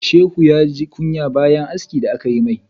Shehu ya ji kunya bayan haski da aka yi mai.